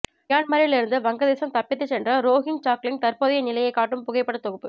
மியான்மரில் இருந்து வங்கதேசம் தப்பித்து சென்ற ரோஹிஞ்சாக்களின் தற்போதைய நிலையை காட்டும் புகைப்பட தொகுப்பு